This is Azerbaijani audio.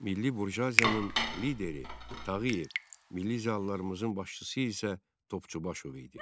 Milli burjuaziyanın lideri Tağıyev, milli ziyalılarımızın başçısı isə Topçubaşov idi.